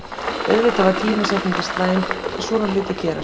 Auðvitað var tímasetningin slæm, en svona hlutir gerast.